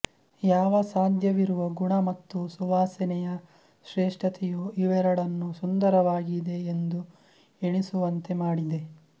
ಯಾವ ಸಾಧ್ಯವಿರುವ ಗುಣ ಮತ್ತು ಸುವಾಸನೆಯ ಶ್ರೇಷ್ಟತೆಯು ಇವೆರಡನ್ನು ಸುಂದರವಾಗಿದೆ ಎಂದು ಎಣಿಸುವಂತೆ ಮಾಡಿದೆ